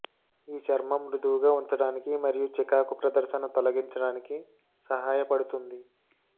ఈ చర్మం మృదువుగా ఉంచడానికి మరియు చికాకు ప్రదర్శన తొలగించడానికి సహాయపడుతుంది